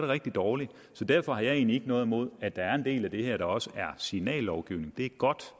rigtig dårligt så derfor har jeg egentlig ikke noget imod at der er en del af det her der også er signallovgivning det er godt